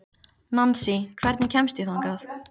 Nansý, hvernig kemst ég þangað?